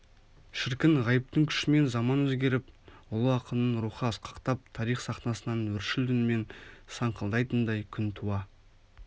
шіркін ғайыптың күшімен заман өзгеріп ұлы ақынның рухы асқақтап тарих сахнасынан өршіл үнімен саңқылдайтындай күн туа